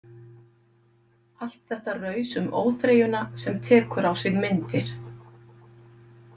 Allt þetta raus um óþreyjuna sem tekur á sig myndir.